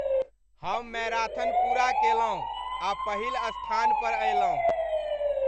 हम मैराथन पूरा केलहुँ आ पहिल स्थान पर अयलहुँ।